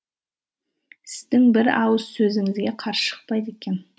сіздің бір ауыз сөзіңізге қарсы шықпайды екен